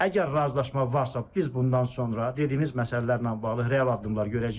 Əgər razılaşma varsa, biz bundan sonra dediyimiz məsələlərlə bağlı real addımlar görəcəyik.